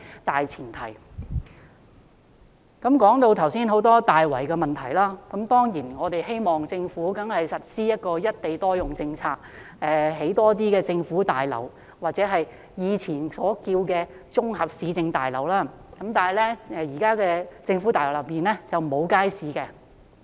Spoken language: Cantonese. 剛才提到很多大圍的問題，當然我們希望政府實施"一地多用"政策，興建更多政府大樓，或前稱綜合市政大樓，但現在的政府大樓中並沒有街市。